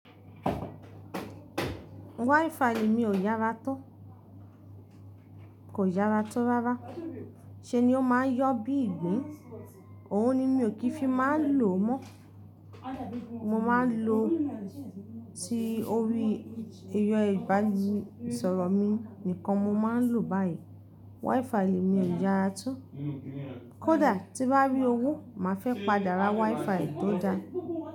WiFi mi ò yára tó, kò yára tó rárá. Ṣé ni ó máa ń yọ bí ìgbín. Òun ni mi ò kí ń fi máa lò mọ́. Mo máa ń lo ti orí ẹyọ ìbánisọ̀rọ̀ mi nìkan mo máa ń lò báyìí. WiFi mi ò yára tó. Kódà tí bá rí owó, màá fẹ́ padà ra WiFi tó da.